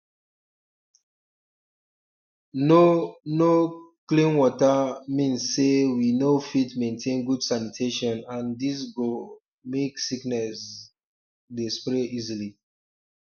no no clean water mean say we no fit maintain good sanitation and this go um make sickness um dey spread easily